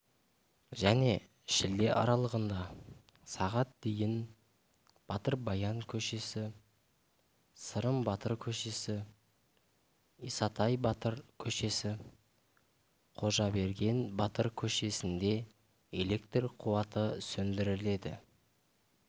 және шілде аралығында сағат дейін батыр баян көшесі сырым батыр көшесі исатай батыр көшесі қожаберген батыр көшесінде электр қуаты сөндіріледі